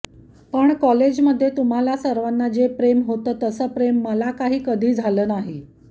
पण कॉलेजमध्ये तुम्हा सर्वांना जे प्रेम होतं तसं प्रेम मला काही कधी झालं नाही